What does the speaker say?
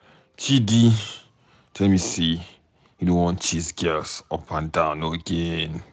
Chidi tell me say he no wan chase girls up and down again